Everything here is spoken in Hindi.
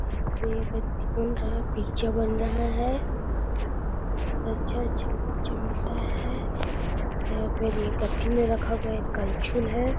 यहां पे एक बन रहा है पिज़्ज़ा बन रहा है। बहोत अच्छा-अच्छा पिज़्ज़ा मिलता है। यहां पर एक मे रखा गया कलछुल है।